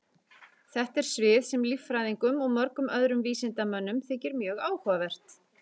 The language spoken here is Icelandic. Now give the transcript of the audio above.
Þetta er svið sem líffræðingum og mörgum öðrum vísindamönnum þykir mjög áhugavert.